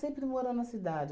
morou na cidade.